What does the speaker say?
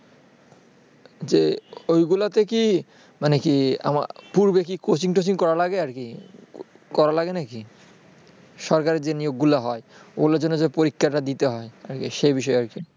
যে ওইগুলোতে কি মানে কি আমার পূর্বে কি coaching টোচিং করা লাগে আর কি করা লাগে নাকি। সরকারের যে নিয়োগগুলো হয় ওইগুলোর জন্য যে পরীক্ষাটা দিতে হয় সেই বিষয়ে আর কি ।